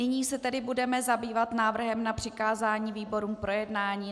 Nyní se tedy budeme zabývat návrhem na přikázání výborům k projednání.